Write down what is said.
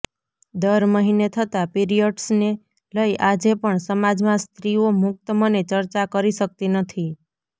દર મહિને થતા પીરિયડ્સને લઈ આજે પણ સમાજમાં સ્ત્રીઓ મુક્ત મને ચર્ચા કરી શકતી નથી